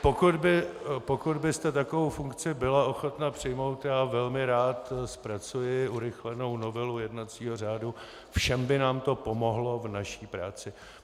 Pokud byste takovou funkci byla ochotna přijmout, já velmi rád zpracuji urychlenou novelu jednacího řádu, všem by nám to pomohlo v naší práci.